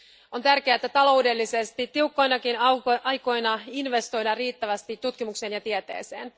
On tärkeää, että taloudellisesti tiukkoinakin aikoina investoidaan riittävästi tutkimuksen ja tieteeseen.